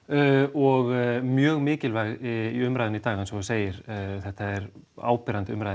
og mjög mikilvæg í umræðunni í dag eins og þú segir þetta er áberandi umræða